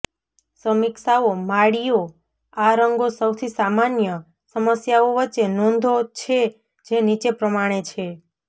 સમીક્ષાઓ માળીઓ આ રંગો સૌથી સામાન્ય સમસ્યાઓ વચ્ચે નોંધો છે જે નીચે પ્રમાણે છેઃ